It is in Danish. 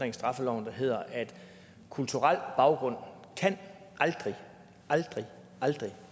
i straffeloven der hedder at kulturel baggrund aldrig aldrig aldrig